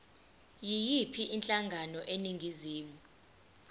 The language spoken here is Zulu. yiyiphi inhlangano eningizimu